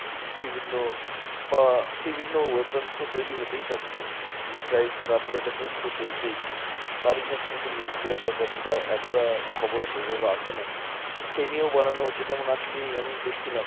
বিভিন্ন বা বিভিন্ন weapons তো তৈরী হতেই থাকছে missiles এর upgradations তো চলছেই। তারই সাথে সাথে nuclear ব্যাপার যেটা এতটা খবরে সেইভাবে আসে না, সেই নিয়েও বানানো হচ্ছে। যেমন আজকেই আমি দেখছিলাম